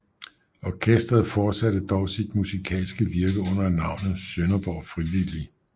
Orkesteret forsatte dog sit musikalske virke under navnet Sønderborg friv